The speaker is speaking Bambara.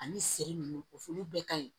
Ani siri nunnu o olu bɛɛ ka ɲi